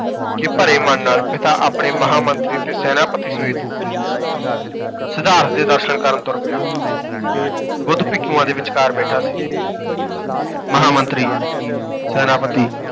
ਕਿ ਭਰੇ ਮਨ ਨਾਲ ਪਿਤਾ ਆਪਣੇ ਮਹਾਂਮੰਤਰੀ ਅਤੇ ਸੈਨਾਪਤੀ ਸਮੇਤ ਸਿਧਾਰਥ ਦੇ ਦਰਸ਼ਨ ਕਰਨ ਤੁਰ ਪਿਆ ਬੁੱਧ, ਭਿੱਖੂਆਂ ਦੇ ਵਿਚਕਾਰ ਬੈਠਾ ਸੀ ਮਹਾਂਮੰਤਰੀ, ਸੈਨਾਪਤੀ